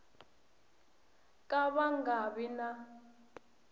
ka va nga vi na